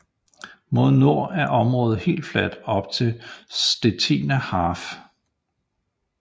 Mod nord er området helt fladt op til Stettiner Haff